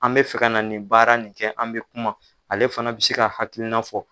An bɛ fɛ ka na nin baara nin kɛ an bɛ kuma ale fana bɛ se k'a hakilina fɔ